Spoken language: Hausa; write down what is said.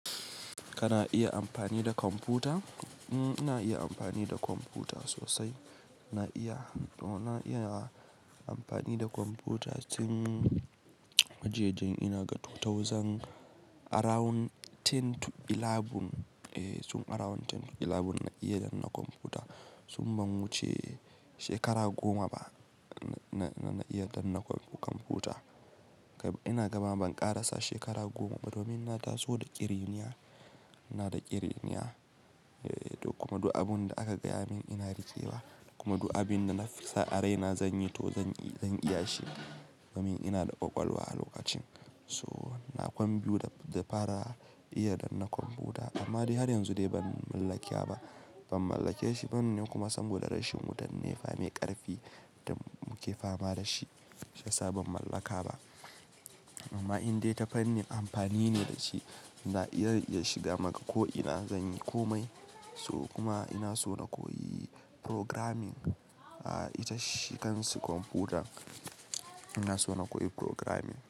Kana iya amfani da kwamfuta? Mm, ina iya amfani da kwamfuta sosai. Na iya, domin na iya amfani da kwamfuta tin wajajjen ina gatu 2000 around 2011 Eh, tun around dubu biyu da sha ɗaya na iya dannan kwamfuta. Tun ban wuce shekara goma ba, na, na, na iya danna kwam kwamfuta. Kai, ina gaba ban ƙarasa shekara goma ba domin na taso da ƙiriniya. Ina da ƙiriniya, eh, ta kuma du abunda aka gaya min ina rike wa. Kuma du abinda na fi sa'a raina zan yi to zan, zan iya shi. Domin ina da ƙwaƙwalwa a lokacin. So na kwam biyu da, da fara iya dannan kwamfuta amma dai har yanzu dai ban mallakiya ba. Ban mallake shi bane kuma saboda rashin wutan ne fa mai ƙarfi da muke fama da shi shiyasa ban mallaka ba. Amma in dai ta fanni amfani ne da shi, na iya zan shiga maka ko ina zan yi komai. So kuma ina so na koyi programming. A, ita shi kansa kwamfuta. Ina so na koyi programming.